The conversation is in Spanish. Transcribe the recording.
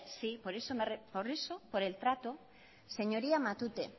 sí por eso por el trato señoría matute